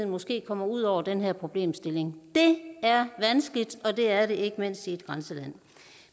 måske kommer ud over den her problemstilling det er vanskeligt og det er det ikke mindst i et grænseland